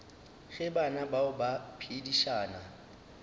ge bana bao ba phedišana